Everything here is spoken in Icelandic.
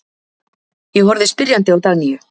Ég horfði spyrjandi á Dagnýju.